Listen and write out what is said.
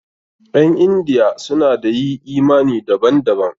Ƴan Indiya suna da yi imani daban daban.